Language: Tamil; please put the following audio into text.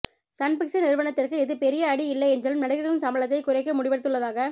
சன் பிக்சர்ஸ் நிறுவனத்துக்கு இது பெரிய அடி இல்லை என்றாலும் நடிகர்களின் சம்பளத்தை குறைக்க முடிவெடுத்துள்ளதாக